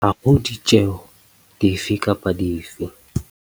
Ha ho ditjeho di fe kapa dife.